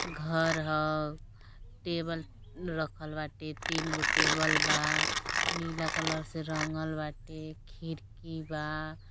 घर ह। टेबल रखल बाटे। तीन गो टेबल बा। नीला कलर से रंगल बाटे। खिरकी बा।